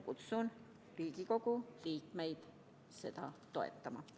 Kutsun Riigikogu liikmeid üles seda toetama.